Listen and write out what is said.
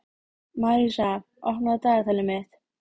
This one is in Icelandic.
Marísa, opnaðu dagatalið mitt.